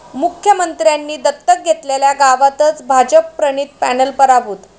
मुख्यमंत्र्यांनी दत्तक घेतलेल्या गावातच भाजपप्रणित पॅनल पराभूत